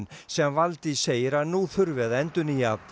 sem Valdís segir að nú þurfi að endurnýja